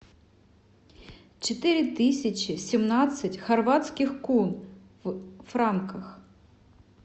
четыре тысячи семнадцать хорватских кун в франках